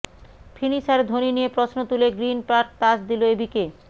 finisher Dhoni নিয়ে প্রশ্ন তুলে গ্রিন পার্ক তাজ দিল এবিকে